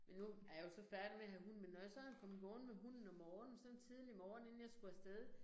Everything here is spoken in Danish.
Men nu ej jeg jo så færdig med at have hund men når jeg så er kommet gående med hunden om morgenen så en tidlig morgen inden jeg skulle af sted